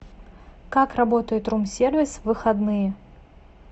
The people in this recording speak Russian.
как работает рум сервис в выходные